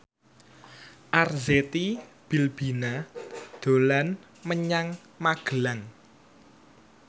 Arzetti Bilbina dolan menyang Magelang